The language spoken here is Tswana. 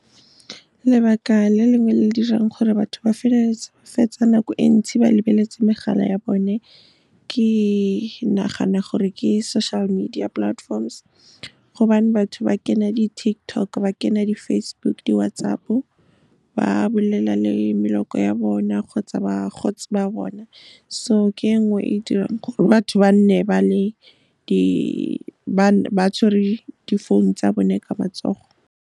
Lebaka le lengwe le le dirang gore batho ba feleletse ba fetsa nako e ntsi ba lebeletse megala ya bone, ke nagana gore ke social media platforms, gobane batho ba kena di-TikTok, ba kena di-Facebook, di-WhatsApp-o, ba bolelela le maloko ya bona kgotsa bagotsi ba bona. So ke e nngwe e e dirang gore batho ba nne ba tshwere difounu tsa bone ka matsogo.